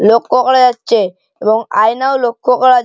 লক্ষ্য করা যাচ্ছে এবং আয়ানাও লক্ষ্য করা--